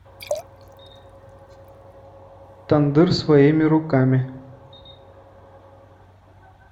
тандыр своими руками